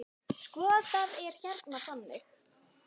Sko, það er hérna þannig.